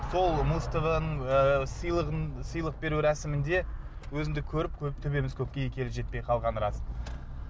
сол музтв ның ыыы сыйлық беру рәсімінде өзіңді көріп төбеміз көкке екі елі жетпей қалғаны рас